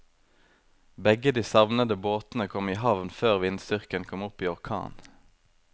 Begge de savnede båtene kom i havn før vindstyrken kom opp i orkan.